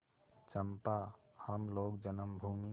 चंपा हम लोग जन्मभूमि